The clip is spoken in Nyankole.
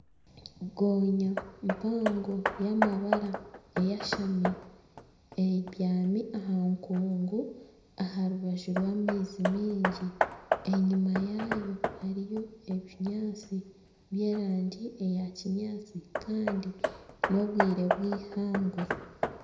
Gonya mpango ey'amabara eyashami, ebyami aha nkungu aha rubaju rw'amaizi mingi, enyima yaayo hariyo ebinyaatsi by'erangi eya kinyaatsi kandi n'obwire bwihangwe